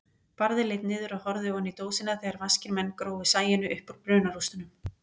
Barði leit niður og horfði oní dósina þegar vaskir menn grófu Sæunni uppúr brunarústunum.